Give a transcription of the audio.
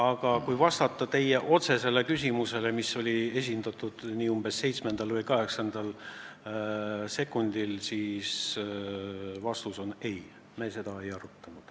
Aga kui vastata teie otsesele küsimusele, mis oli esitatud umbes seitsmendal või kaheksandal sekundil, siis vastus on, et seda teemat me ei arutanud.